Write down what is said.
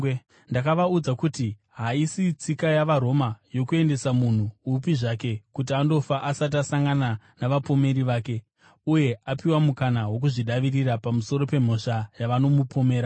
“Ndakavaudza kuti haisi tsika yavaRoma, yokuendesa munhu upi zvake kuti andofa asati asangana navapomeri vake, uye apiwa mukana wokuzvidavirira pamusoro pemhosva yavanomupomera.